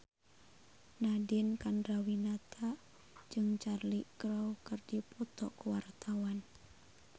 Nadine Chandrawinata jeung Cheryl Crow keur dipoto ku wartawan